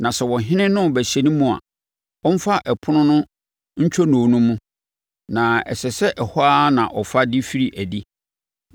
Na sɛ ɔhene no rebɛhyɛne mu a, ɔmfa ɛpono no ntwonoo no mu, na ɛsɛ sɛ ɛhɔ ara na ɔfa de firi adi.